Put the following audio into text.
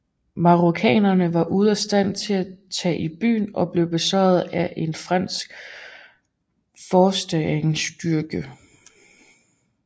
Marokkanere var ude af stand til at tage i byen og blev besejrede af en fransk forstærkningsstyrke